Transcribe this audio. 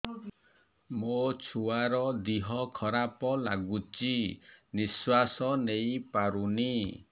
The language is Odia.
ମୋ ଛୁଆର ଦିହ ଖରାପ ଲାଗୁଚି ନିଃଶ୍ବାସ ନେଇ ପାରୁନି